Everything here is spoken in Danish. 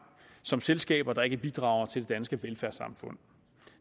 som selskaber der ikke bidrager til det danske velfærdssamfund